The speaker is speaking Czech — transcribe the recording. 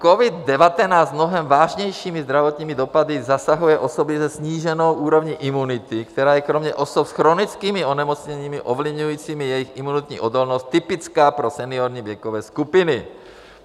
Covid-19 mnohem vážnějšími zdravotními dopady zasahuje osoby se sníženou úrovní imunity, která je kromě osob s chronickými onemocněními ovlivňujícími jejich imunitní odolnost typická pro seniorní věkové skupiny.